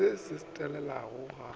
se se a telela ga